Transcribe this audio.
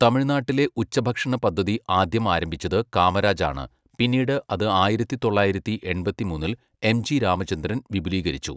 തമിഴ്നാട്ടിലെ ഉച്ചഭക്ഷണ പദ്ധതി ആദ്യം ആരംഭിച്ചത് കാമരാജാണ്, പിന്നീട് അത് ആയിരത്തി തൊള്ളായിരത്തി എൺപത്തിമൂന്നിൽ എം.ജി രാമചന്ദ്രൻ വിപുലീകരിച്ചു.